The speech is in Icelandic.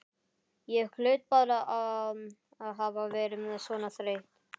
Ég hlaut bara að hafa verið svona þreytt.